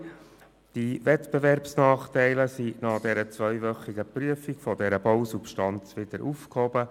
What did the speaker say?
Zu Ziffer 2: Die Wettbewerbsnachteile sind nach der zweiwöchigen Prüfung der Bausubstanz wieder aufgehoben.